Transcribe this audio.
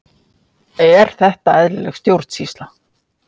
Er þetta eðlileg stjórnsýsla?